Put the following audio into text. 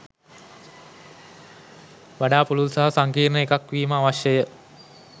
වඩා පුළුල් සහ සංකීර්ණ එකක් වීම අවශ්‍යය.